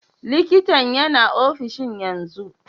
Likintan yana ofishin yanzu?